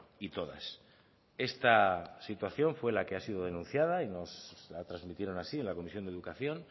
y todas esta situación fue la que ha sido denunciada y nos lo trasmitieron así en la comisión de educación